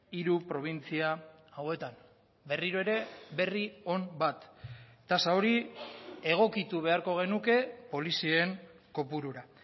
hiru probintzia hauetan berriro ere berri on bat tasa hori egokitu beharko genuke polizien kopurura